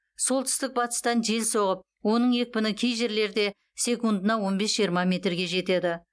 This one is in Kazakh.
солтүстік батыстан жел соғып оның екпіні кей жерлерде секундына он бес жиырма метрге жетеді